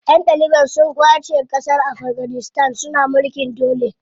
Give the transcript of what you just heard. Ƴan taliban su ƙwace ƙasar Afganistan suna mulkin dole.